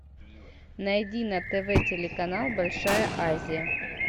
найди на тв телеканал большая азия